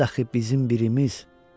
ol dəxi bizim birimiz.